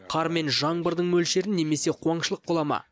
қар мен жаңбырдың мөлшерін немесе қуаңшылық бола ма